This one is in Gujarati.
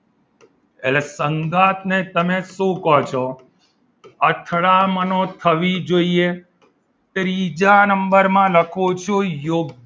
એટલે સંગાથને તમે શું કહો છો અથડામણો થવી જોઈએ ત્રીજા નંબરમાં લખું છું